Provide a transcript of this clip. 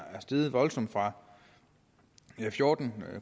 steget voldsomt fra fjorten